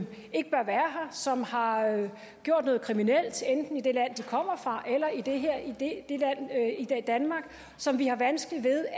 som har gjort noget kriminelt enten i det land de kommer fra eller i danmark og som vi har vanskeligt ved